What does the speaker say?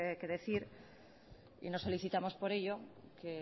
que decir y lo solicitamos por ello que